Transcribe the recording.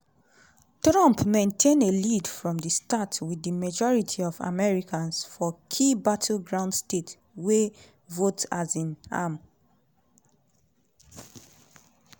trump maintain a lead from di start wit di majority of americans for key battleground states wey vote um am.